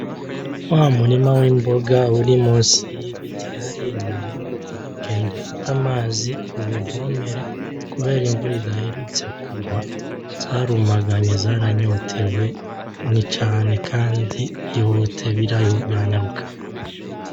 Wa murima w’imboga uri musi y’ibiti ya hariya inyuma y’urugo, genda ufate amazi uwuvomere kubera imvura idaherutse kugwa zarumaganye kandi zaranyotewe, ni cane kandi ihute kandi biranyaruka.